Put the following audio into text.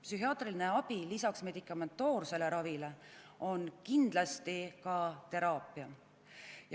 Psühhiaatriline abi, lisaks medikamentoossele ravile, on kindlasti ka teraapia.